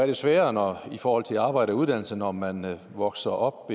det sværere i forhold til arbejde og uddannelse når man vokser op